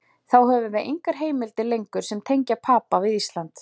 Þá höfum við engar heimildir lengur sem tengja Papa við Ísland.